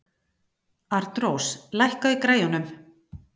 Arnrós, lækkaðu í græjunum.